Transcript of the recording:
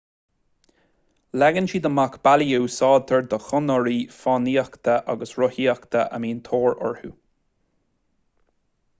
leagann siad amach bealaí a úsáidtear do chonairí fánaíochta agus rothaíochta a mbíonn tóir orthu